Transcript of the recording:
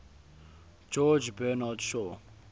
george bernard shaw